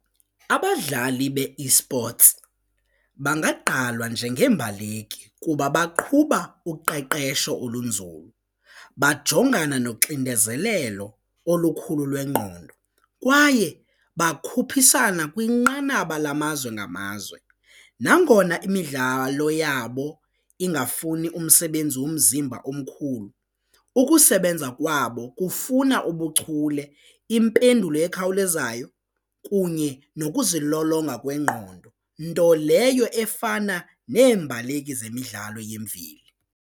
Abadlali be-esports bangagqalwa njengeembaleki kuba baqhuba uqeqesho olunzulu, bajongana noxinezelelo olukhulu lwengqondo kwaye bakhuphisana kwinqanaba lamazwe ngamazwe nangona imidlalo yabo ingafuni umsebenzi womzimba omkhulu ukusebenza kwabo kufuna ubuchule, impendulo ekhawulezayo kunye nokuzilolonga kwengqondo nto leyo efana neembaleki zemidlalo yemveli.